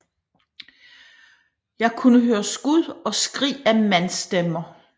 Jeg kunne høre skud og skrig af mandsstemmer